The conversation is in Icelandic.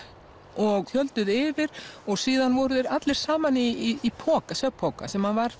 og tjölduðu yfir og síðan voru þeir allir saman í svefnpoka sem var